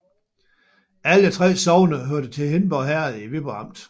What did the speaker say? Alle 3 sogne hørte til Hindborg Herred i Viborg Amt